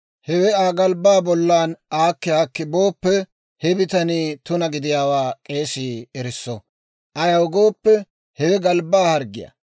Hewe Aa galbbaa bollan aakki aakkiide booppe, he bitanii tuna gidiyaawaa k'eesii erisso; ayaw gooppe, hewe galbbaa harggiyaa.